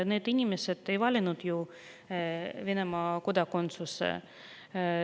Need inimesed ei ole valinud ju Venemaa kodakondsust.